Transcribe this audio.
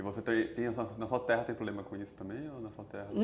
E na sua terra tem problema com isso também?